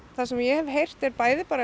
það sem ég hef heyrt er bæði